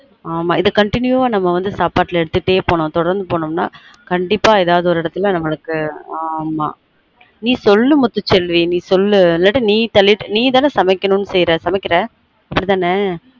ஆமா இத continue வா சாப்பாடுல எடுத்துட்டே போனமுனா தொடர்ந்து போனமுன்னா கண்டீப்பா ஏதாவது ஒரு இடத்துல நம்மளுக்கு ஆமா நீ சொல்லு முத்து செல்வி நீ சொல்லு நீ தான சமைக்கனும் செய்யுற சமைக்குற அப்டி தான